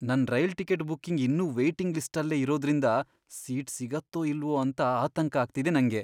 ನನ್ rail ticket booking ಇನ್ನೂ waiting ಲಿಸ್ಟಲ್ಲೇ ಇರೋದ್ರಿಂದ ಸೀಟ್ ಸಿಗತ್ತೋ ಇಲ್ವೋ ಅಂತ ಆತಂಕ ಆಗ್ತಿದೆ ನಂಗೆ.